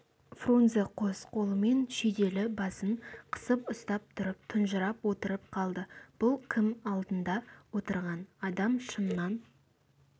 фрунзе қос қолымен шүйделі басын қысып ұстап тұнжырап отырып қалды бұл кім алдында отырған адам шыннан